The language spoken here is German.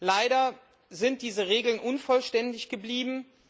Leider sind diese Regeln unvollständig geblieben.